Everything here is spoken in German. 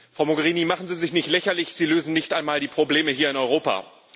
Frau Mogherini, machen Sie sich nicht lächerlich, Sie lösen nicht einmal die Probleme hier in Europa!